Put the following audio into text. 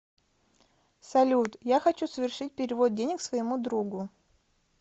салют я хочу совершить перевод денег своему другу